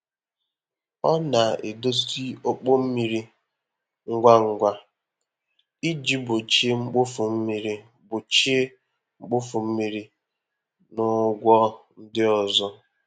Ọ na-edozi ọkpọ mmiri ngwa ngwa iji gbochie mkpofu mmiri gbochie mkpofu mmiri na ụgwọ ndị ọzọ.